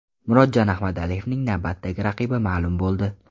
Murodjon Ahmadaliyevning navbatdagi raqibi ma’lum bo‘ldi.